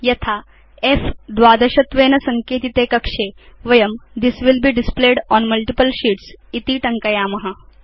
यथा फ्12 त्वेन सङ्केतिते कक्षे वयं this will be displayed on multiple sheets इति टङ्कयाम